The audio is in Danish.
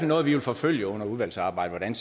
noget vi vil forfølge under udvalgsarbejdet